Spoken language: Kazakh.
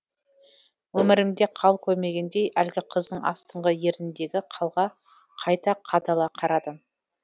өмірімде қал көрмегендей әлгі қыздың астыңғы ерініндегі қалға қайта қадала қарадым